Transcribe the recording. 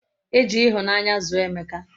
Eji ihunanya zuo emeka